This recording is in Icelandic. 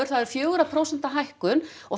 það er fjögurra prósenta hækkun og